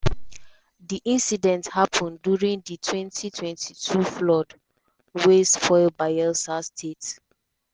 di incident happen during di 2022 flood wey spoil bayelsa state.